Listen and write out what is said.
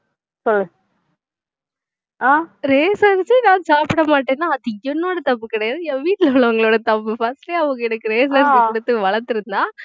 அஹ் ration அரிசி நான் சாப்பிடமாட்டேன்னா அது என்னோட தப்பு கிடையாது என் வீட்ல உள்ளவங்களோட தப்பு first ஏ அவங்க எனக்கு ration அரிசி கொடுத்து வளர்த்திருந்தா